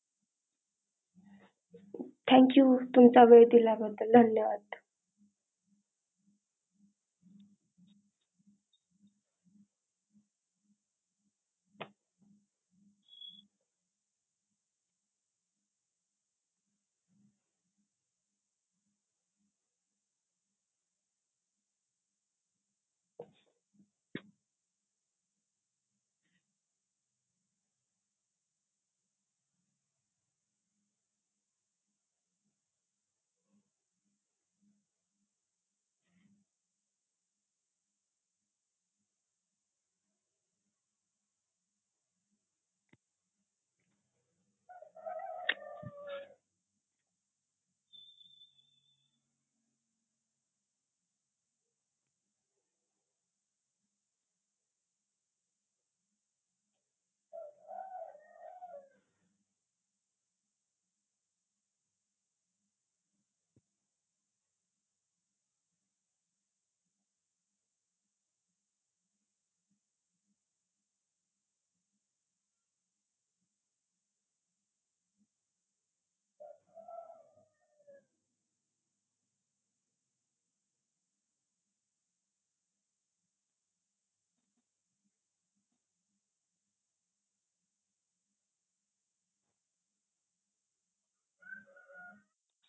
thank you तुमचा वेळ दिल्या बदल धन्यवाद.